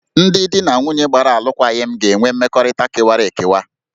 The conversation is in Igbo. Ndị di na nwunye gbara alụkwaghịm ga-enwe mmekọrịta kewara ekewa